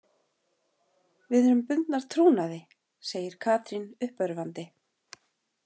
Við erum bundnar trúnaði, segir Katrín uppörvandi.